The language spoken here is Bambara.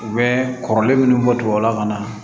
U bɛ kɔrɔlen minnu bɔ tubabu la ka na